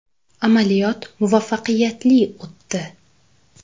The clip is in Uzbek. Amaliyot muvaffaqiyatli o‘tdi.